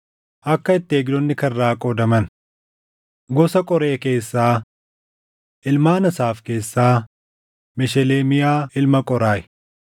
Akka itti eegdonni karraa qoodaman: Gosa qoree keessaa: Ilmaan Asaaf keessaa Mesheleemiyaa ilma Qooraahi.